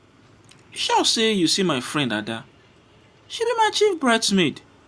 you sure say you see my friend ada she be my chief bride's maid.